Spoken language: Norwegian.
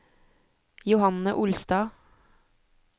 Johanne Olstad